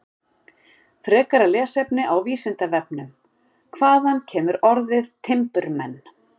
Frekara lesefni á Vísindavefnum: Hvaðan kemur orðið timburmenn?